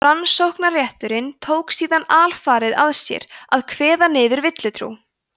rannsóknarrétturinn tók síðan alfarið að sér að kveða niður villutrú